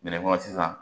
Bɛnɛ ko sisan